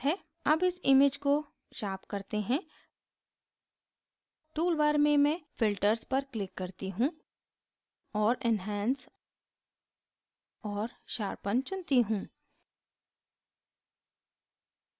अब इस image को sharpen करते हैं tool bar में मैं filters पर click करती हूँ और enhance और sharpen चुनती हूँ